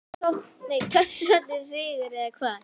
Torsóttur sigur eða hvað?